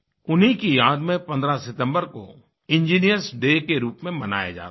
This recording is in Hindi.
उन्हीं की याद में 15 सितम्बर कोइंजिनियर्स डे के रूप में बनाया जाता है